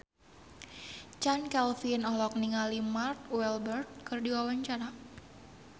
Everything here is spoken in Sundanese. Chand Kelvin olohok ningali Mark Walberg keur diwawancara